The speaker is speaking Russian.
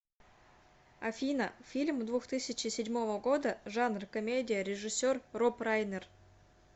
афина фильм двух тысячи седьмого года жанр комедия режисер роб райнер